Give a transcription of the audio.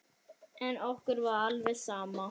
En okkur var alveg sama.